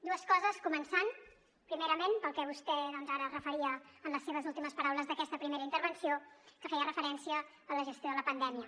dues coses començant primerament pel que vostè doncs ara es referia en les seves últimes paraules d’aquesta primera intervenció que feia referència a la gestió de la pandèmia